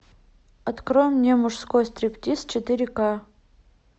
открой мне мужской стриптиз четыре ка